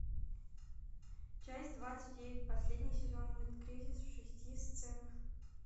часть двадцать девять последний сезон мульт кризис в шести сценах